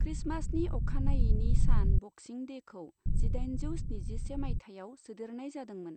क्रिसमासनि अखानायैनि सान ब'क्सिं डेखौ जिदाइनजौ स्निजिसे मायथाइयाव सोदेरनाय जादोंमोन।